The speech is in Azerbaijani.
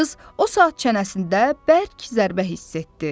Qız o saat çənəsində bərk zərbə hiss etdi.